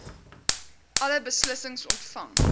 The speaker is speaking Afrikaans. alle beslissings ontvang